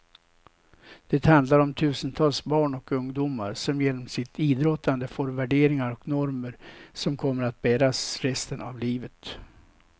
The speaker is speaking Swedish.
Det handlar om tusentals barn och ungdomar som genom sitt idrottande får värderingar och normer som kommer att bäras resten av livet.